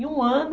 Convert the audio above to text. Em um ano...